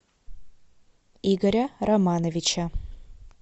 игоря романовича